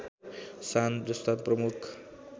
सान जस्ता प्रमुख